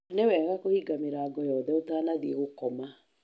Nĩ wega kũhinga mĩrango yothe ũtanathiĩ gũkoma.